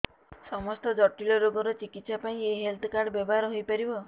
ସମସ୍ତ ଜଟିଳ ରୋଗର ଚିକିତ୍ସା ପାଇଁ ଏହି ହେଲ୍ଥ କାର୍ଡ ବ୍ୟବହାର ହୋଇପାରିବ